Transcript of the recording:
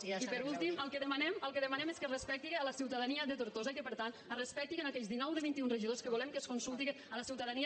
i per últim el que demanem és que es respecti la ciutadania de tortosa i que per tant es respectin aquells dinou de vint i un regidors que volem que es consulti la ciutadania